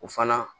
O fana